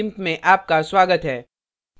meet the gimp में आपका स्वागत है